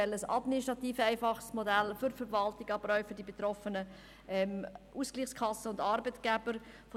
Das Modell soll für die Verwaltung und die Betroffenen wie Arbeitgebende und Ausgleichskassen administrativ einfach sein.